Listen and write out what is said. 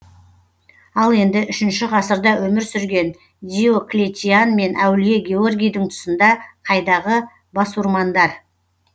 ал енді үшінші ғасырда өмір сүрген диоклетиан мен әулие георгийдің тұсында қайдағы басурмандар